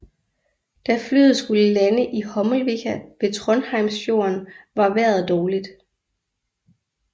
Da flyet skulle lande i Hommelvika ved Trondheimsfjorden var vejret dårligt